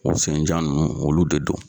U senjan ninnu olu de do.